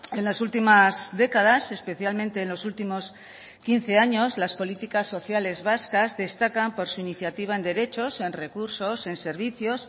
en las últimas décadas especialmente en los últimos quince años las políticas sociales vascas destacan por su iniciativa en derechos en recursos en servicios